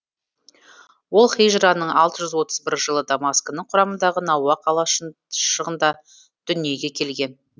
ол һижраның алты жүз отыз бір жылы дамаскінің құрамындағы науа қалашығында дүниеге келген